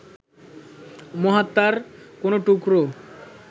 মহাত্মার কোনো টুকরো